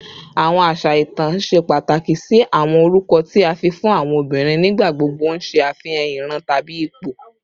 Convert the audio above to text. Awọn aṣa itan ṣe pataki si awọn orukọ ti a fi fun awọn obinrin, nigbagbogbo n ṣe afihan iran tabi ipo